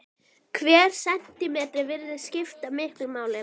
Hver sentímetri virðist skipta miklu máli.